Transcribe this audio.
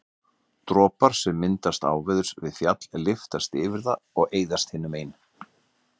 Dropar sem myndast áveðurs við fjall lyftast yfir það og eyðast hinu megin.